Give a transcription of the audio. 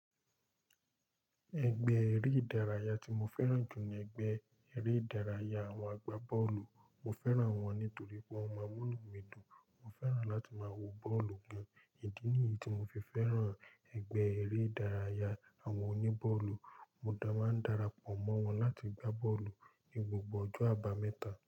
Ẹgbẹ́ eré ìdárayá tí mo fẹ́ràn jù ní ẹgbẹ́ eré ìdárayá àwọn agbá bọ́ọ̀lù. Mo fẹ́ràn wọn nítorí pé wọ́n mọ munù mi dùn. Mo fẹ́ràn láti máa wo bọ́ọ̀lù gan. Ìdí nìyí tí mo fi fẹ́ràn ẹgbẹ́ eré ìdárayá àwọn oní bọ́ọ̀lù. Mo dá máa ń darapọ̀ mọ́ wọn láti gbá bọ́ọ̀lù ní gbogbo ọjọ́ àbámẹ́ta.